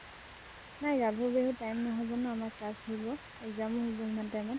নাই গাভৰু বিহুত time নহব ন, আমাৰ class থাকিব। exam উ হব ইমান time ত।